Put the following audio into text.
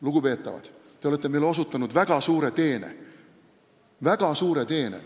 Lugupeetavad, te olete meile osutanud väga suure teene!